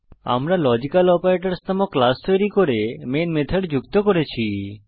আমরা logical operators নামক class তৈরী করে মেন মেথড যুক্ত করেছি